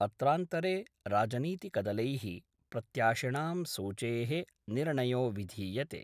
अत्रान्तरे राजनीतिकदलै: प्रत्याशिणां सूचे: निर्णयो विधीयते।